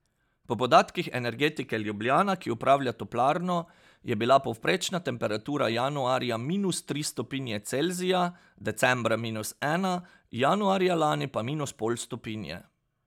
Po podatkih Energetike Ljubljana, ki upravlja toplarno, je bila povprečna temperatura januarja minus tri stopinje Celzija, decembra minus ena, januarja lani pa minus pol stopinje.